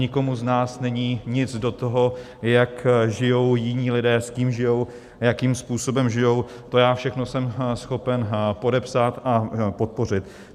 Nikomu z nás není nic do toho, jak žijí jiní lidé, s kým žijí, jakým způsobem žijí, to já všechno jsem schopen podepsat a podpořit.